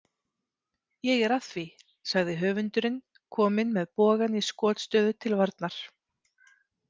Ég er að því, sagði höfundurinn komin með bogann í skotstöðu til varnar.